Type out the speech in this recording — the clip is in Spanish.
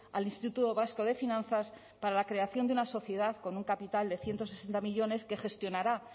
al instituto vasco de finanzas para la creación de una sociedad con un capital de ciento sesenta millónes que gestionará